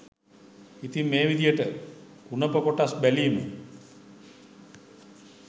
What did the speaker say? ඉතින් මේ විදිහට කුණප කොටස් බැලීම